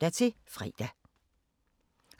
Radio24syv